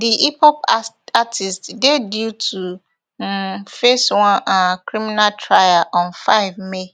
di hiphop artist dey due to um face one um criminal trial on five may